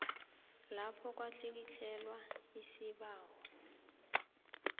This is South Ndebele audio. lapho kwatlikitlelwa isibawo